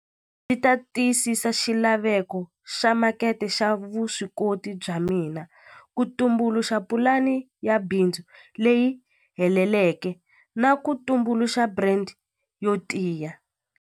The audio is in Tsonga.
Ni ta tiyisisa xilaveko xa makete xa vuswikoti bya mina ku tumbuluxa pulani ya bindzu leyi heleleke na ku tumbuluxa brand yo tiya.